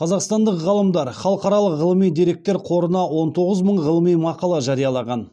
қазақстандық ғалымдар халықаралық ғылыми деректер қорына он тоғыз мың ғылыми мақала жариялаған